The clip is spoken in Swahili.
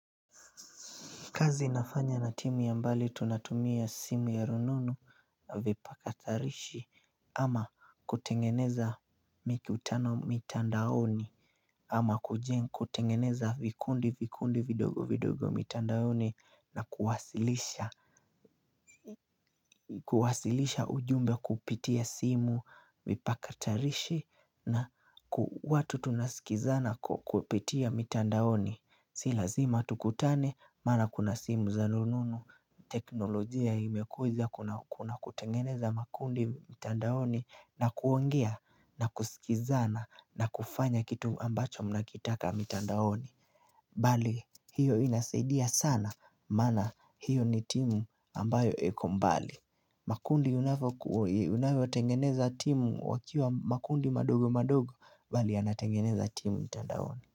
Kazi nafanya na timu ya mbali tunatumia simu ya rununu na vipakatarishi ama kutengeneza mikutano mitandaoni ama kujenga kutengeneza vikundi vikundi vidogo vidogo mitandaoni na kuwasilisha ujumbe kupitia simu vipakatarishi na watu tunasikizana kupitia mitandaoni. Si lazima tukutane, mara kuna simu za rununu, teknolojia imekuja kuna kutengeneza makundi mitandaoni na kuongea na kusikizana na kufanya kitu ambacho mnakitaka mitandaoni. Bali, hiyo inasaidia sana, maana hiyo ni timu ambayo iko mbali. Makundi unavyo tengeneza timu wakiwa makundi madogo madogo, bali anatengeneza timu mitandaoni.